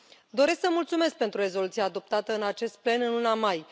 Doresc să mulțumesc pentru rezoluția adoptată în acest plen în luna mai.